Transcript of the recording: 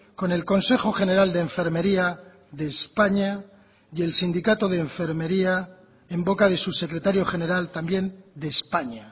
con el consejo general de enfermería de españa y el sindicato de enfermería en boca de su secretario general también de españa